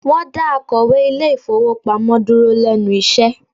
Wọ́n dá akọ̀wé ilé ìfowópamọ́ dúró lẹ́nu iṣẹ́